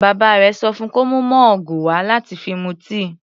Bàbá rẹ̀ sọ fún kó mú mọ́ọ̀gù wà láti fi mu tíì.